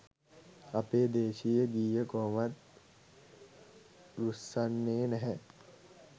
අපේ දේශීය ගීය කොහොමත් රුස්සන්නේ නැහැ